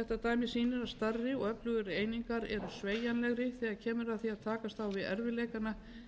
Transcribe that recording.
þetta dæmi sýnir að stærri og öflugri einingar eru sveigjanlegri þegar kemur að því að takast á við erfiðleikana eins og þá sem nú er glímt